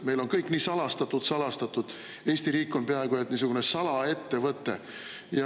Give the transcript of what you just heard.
Meil on kõik nii salastatud-salastatud, Eesti riik on peaaegu nagu salaettevõte.